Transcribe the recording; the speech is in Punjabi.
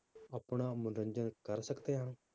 ਆਪਣਾ ਮਨੋਰੰਜਨ ਕਰ ਸਕਦੇ ਹਾਂ?